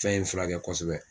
Fɛn in fira kɛ kosɛbɛ.